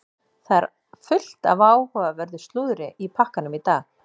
Það er fullt af áhugaverðu slúðri í pakkanum í dag.